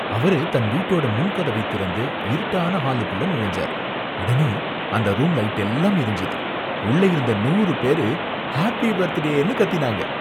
அவரு தன் வீட்டோட முன் கதவைத் திறந்து, இருட்டான ஹாலுக்குள்ள நுழைஞ்சாறு, உடனே அந்த ரூம் லைட்டெல்லாம் எரிந்சுது, உள்ள இருந்து நூறு பேரு ஹாப்பி பர்த்டேனு கத்தினாங்க.